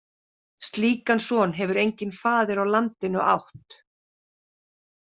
Slíkan son hefur enginn faðir á landinu átt.